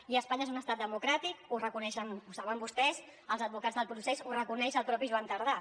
i espanya és un estat democràtic ho reconeixen ho saben vostès els advocats del procés ho reconeix el mateix joan tardà